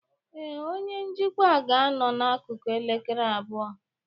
Ee, onye njikwa ga-anọ n'akụkụ elekere abụọ.